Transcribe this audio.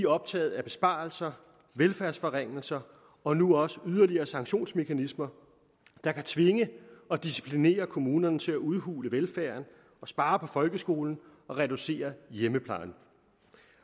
optaget af besparelser velfærdsforringelser og nu også yderligere sanktionsmekanismer der kan tvinge og disciplinere kommunerne til at udhule velfærden og spare på folkeskolen og reducere hjemmeplejen